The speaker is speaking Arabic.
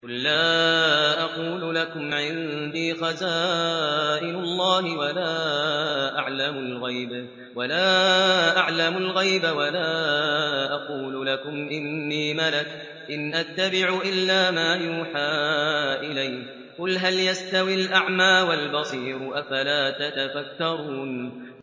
قُل لَّا أَقُولُ لَكُمْ عِندِي خَزَائِنُ اللَّهِ وَلَا أَعْلَمُ الْغَيْبَ وَلَا أَقُولُ لَكُمْ إِنِّي مَلَكٌ ۖ إِنْ أَتَّبِعُ إِلَّا مَا يُوحَىٰ إِلَيَّ ۚ قُلْ هَلْ يَسْتَوِي الْأَعْمَىٰ وَالْبَصِيرُ ۚ أَفَلَا تَتَفَكَّرُونَ